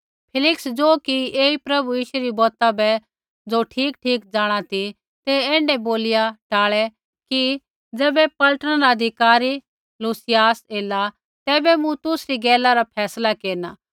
फेलिक्स ज़ो कि ऐई प्रभु यीशु री बौत ज़ो बै ठीकठीक जाँणा ती ते ऐण्ढै बोलिया टालै कि ज़ैबै पलटना रा अधिकारी लूसियास एला तैबै मूँ तुसरी गैला रा फैसला केरना